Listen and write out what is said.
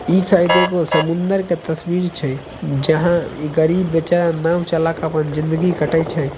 ई शायद एगो समुंदर के तस्वीर छै जहाँ ई गरीब बेचारा नाव चलाकर आपन जिंदगी काटइ छै।